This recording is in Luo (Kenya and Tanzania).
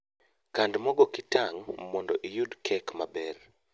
Kand mogo kitang' mondo iyud kek maber